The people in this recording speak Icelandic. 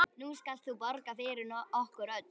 Nú skalt þú borga fyrir okkur öll.